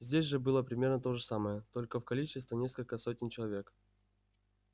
здесь же было примерно то же самое только в количестве несколько сотен человек